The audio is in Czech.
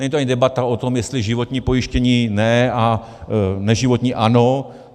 Není to ani debata o tom, jestli životní pojištění ne a neživotní ano.